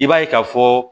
I b'a ye ka fɔ